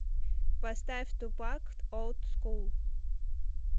поставь тупак олд скул